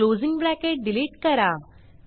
closing bracket delete करा